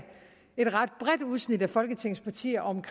et ret bredt udsnit af folketingets partier og